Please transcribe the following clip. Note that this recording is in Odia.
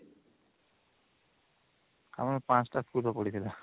ଆମର ୫ଟା school ର ପଡିଥିଲା